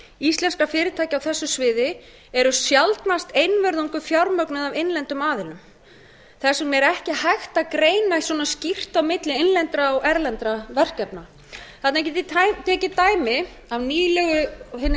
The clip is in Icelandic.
íslenskra fyrirtækja á þessu sviði eru sjaldnast einvörðungu fjármögnuð af innlendum aðilum þess vegna er ekki hægt að greina svona skýrt á milli innlendra og erlendra verkefna þarna get ég tekið dæmi af hinni